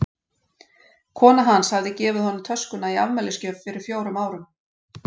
Kona hans hafði gefið honum töskuna í afmælisgjöf fyrir fjórum árum.